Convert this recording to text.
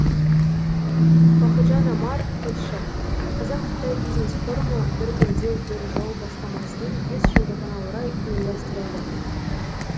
бақытжан омар тілші қазақ қытай бизнес форумы бір белдеу бір жол бастамасының бес жылдығына орай ұйымдастырылды